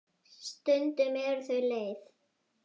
Stundum eru þau leið.